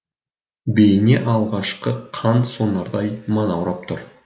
бейне алғашқы қан сонардай манаурап тұр